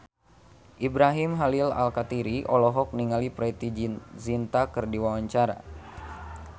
Ibrahim Khalil Alkatiri olohok ningali Preity Zinta keur diwawancara